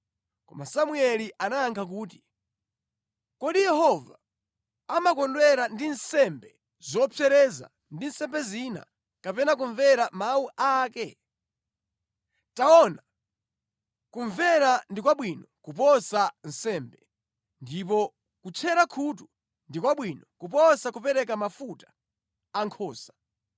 Koma Samueli anayankha kuti, “Kodi Yehova amakondwera ndi nsembe zopsereza ndi nsembe zina kapena kumvera mawu a ake? Taona, kumvera ndi kwabwino kuposa nsembe, ndipo kutchera khutu ndi kwabwino kuposa kupereka mafuta a nkhosa.